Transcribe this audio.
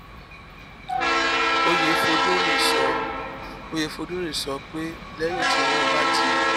oyefodunrin sọ oyefodunrin sọ pé lẹyìn tí wọn bá ti